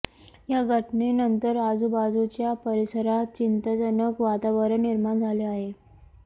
या घटनेनंतर आजूबाजुच्या परिसरात चिंताजनक वातावरण निर्माण झाले आहे